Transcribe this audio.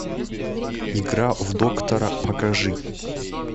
игра в доктора покажи